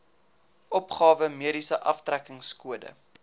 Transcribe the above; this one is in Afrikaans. opgawe mediese aftrekkingskode